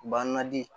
Banna di